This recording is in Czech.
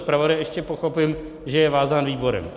Zpravodaj, ještě pochopím, že je vázán výborem.